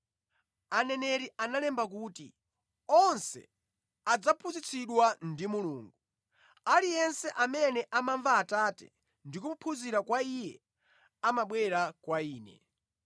Aneneri analemba kuti, “Onse adzaphunzitsidwa ndi Mulungu! Aliyense amene amamva Atate ndi kuphunzira kwa Iye amabwera kwa Ine.